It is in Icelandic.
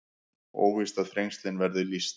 Óvíst að Þrengslin verði lýst